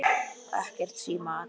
Og ekkert símaat.